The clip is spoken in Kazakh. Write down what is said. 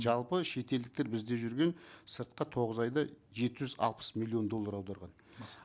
жалпы шетелдіктер бізде жүрген сыртқа тоғыз айда жеті жүз алпыс миллион доллар аударған масқара